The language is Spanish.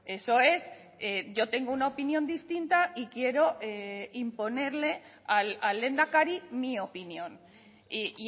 eso es yo tengo una opinión distinta y quiero imponerle al lehendakari mi opinión y